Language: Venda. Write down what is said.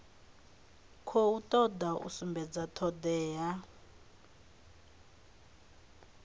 khou toda u sumbedza thodea